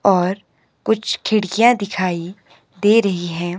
और कुछ खिड़कियां दिखाई दे रही है।